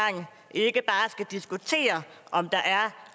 ikke bare skal diskutere om der er